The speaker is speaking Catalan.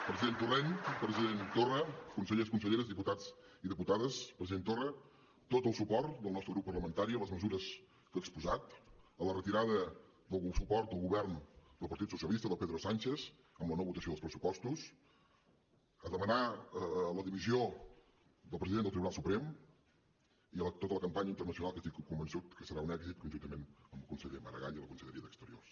president torrent president torra consellers conselleres diputats i diputades president torra tot el suport del nostre grup parlamentari a les mesures que ha exposat a la retirada del suport al govern del partit socialista de pedro sánchez amb la no votació dels pressupostos a demanar la dimissió del president del tribunal suprem i a tota la campanya internacional que estic convençut que serà un èxit conjuntament amb el conseller maragall i la conselleria d’exteriors